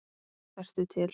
Vertu til.